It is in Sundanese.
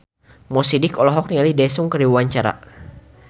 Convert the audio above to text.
Mo Sidik olohok ningali Daesung keur diwawancara